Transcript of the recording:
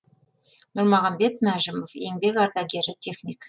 нұрмағанбет мәжімов еңбек ардагері техник